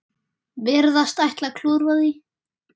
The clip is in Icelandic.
Virðast ætla að klúðra því.